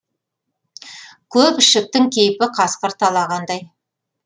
көк ішіктің кейпі қасқыр талағандай